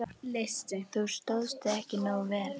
Þú stóðst þig ekki nógu vel.